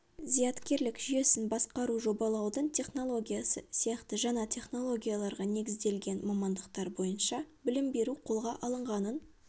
зияткерлік жүйесін басқару жобалаудың технологиясы сияқты жаңа технологияларға негізделген мамандықтар бойынша білім беру қолға алынғанын